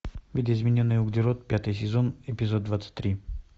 видоизмененный углерод пятый сезон эпизод двадцать три